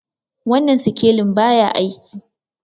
wannan sikelin ba ya aiki